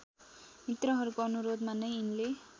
मित्रहरूको अनुरोधमा नै यिनले